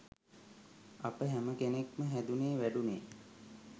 අප හැම කෙනෙක්ම හැදුනේ වැඩුනේ